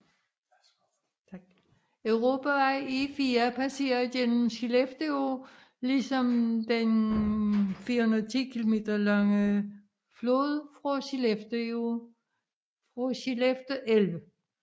Europavej E4 passerer igennem Skellefteå ligesom den 410 km lange flod Skellefte elv